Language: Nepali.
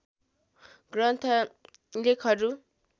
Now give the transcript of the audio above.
ग्रन्थ लेखहरू